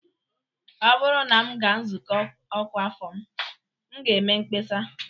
Ọ bụrụ na m gaa nzukọ ọkwa afọ m, m ga-eme mkpesa